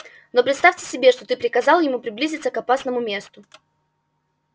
но представьте себе что ты приказал ему приблизиться к опасному месту